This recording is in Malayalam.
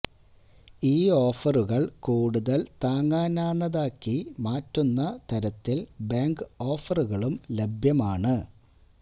ഈ ഓഫറുകൾ കൂടുതൽ താങ്ങാനാന്നതാക്കി മാറ്റുന്ന തരത്തിൽ ബാങ്ക് ഓഫറുകളും ലഭ്യമാണ്